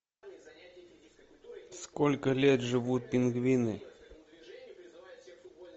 сколько лет живут пингвины